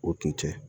O tun tɛ